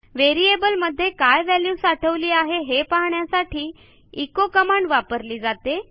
व्हेरिएबलमध्ये काय व्हॅल्यू साठवली आहे हे पाहण्यासाठी एचो कमांड वापरली जाते